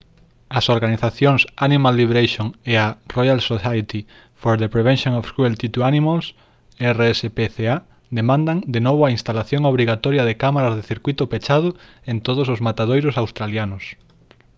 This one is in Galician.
as organizacións animal liberation e a royal society for the prevention of cruelty to animals rspca demandan de novo a instalación obrigatoria de cámaras de circuíto pechado en todos os matadoiros australianos